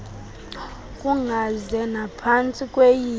kungaze naphantsi kweyiphi